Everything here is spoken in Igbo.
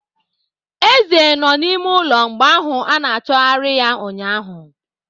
Eze nọ n'ime ụlọ mgbe ahụ a na-achọgarị ya ụnyaahụ.